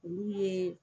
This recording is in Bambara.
Olu ye